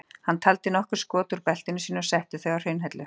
Hann taldi nokkur skot úr beltinu sínu og setti þau á hraunhellu.